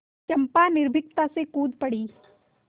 चंपा निर्भीकता से कूद पड़ी